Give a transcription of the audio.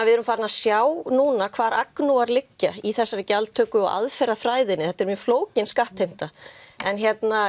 við erum farin að sjá núna hvar agnúar liggja í þessari gjaldtöku og aðferðafræðinni þetta er mjög flókin skattheimta en